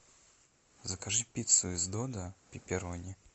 закажи пиццу из додо пепперони